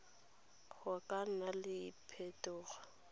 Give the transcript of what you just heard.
go ka nna le phetogo